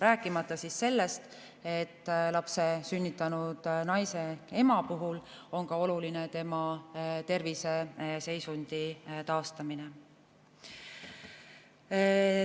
Rääkimata sellest, et lapse sünnitanud naise, ema puhul on oluline ka tema terviseseisundi taastamine.